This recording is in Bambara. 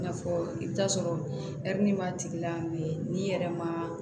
I n'a fɔ i bɛ t'a sɔrɔ n'i yɛrɛ ma